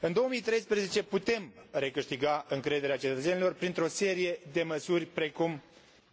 În 2013 putem recâștiga încrederea cetățenilor printr o serie de măsuri precum